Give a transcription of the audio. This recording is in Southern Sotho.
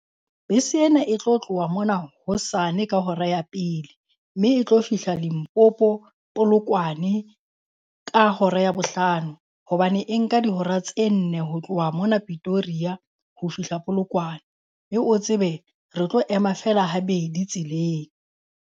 Bese ena e tlo tloha mona hosane ka hora ya pele, mme e tlo fihla Limpopo Polokwane ka hora ya bohlano. Hobane e nka dihora tse nne ho tloha mona Pitoria ho fihla Polokwane. Mme o tsebe re tlo ema feela habedi tseleng.